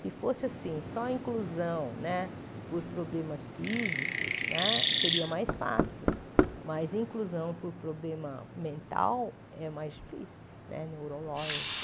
Se fosse assim, só inclusão né por problemas físicos, seria mais fácil, mas inclusão por problema mental é mais difícil né, neurológico.